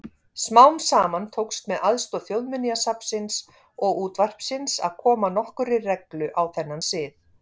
Smám saman tókst með aðstoð Þjóðminjasafnsins og útvarpsins að koma nokkurri reglu á þennan sið.